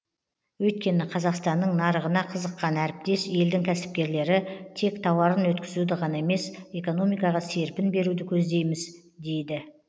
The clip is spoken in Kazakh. өйткені қазақстанның нарығына қызыққан әріптес елдің кәсіпкерлері тек тауарын өткізуді ғана емес экономикаға серпін беруді көздейміз дейді